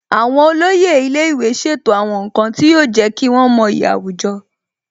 Àwọn olóyè ilé ìwé ṣètò àwọn nǹkan tí yóò jẹ́ kí wọ́n mọyì àwùjọ